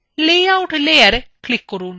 layout layer click করুন